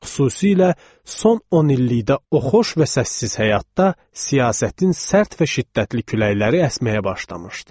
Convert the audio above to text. Xüsusilə son 10 illikdə o xoş və səssiz həyatda siyasətin sərt və şiddətli küləkləri əsməyə başlamışdı.